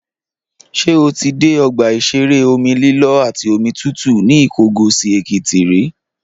Ṣé o ti dé ọgbà ìṣeré omi lílọ́ àti omi tútù ní Ìkọgòsì-Èkìtì rí?